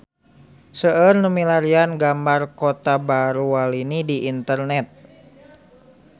Seueur nu milarian gambar Kota Baru Walini di internet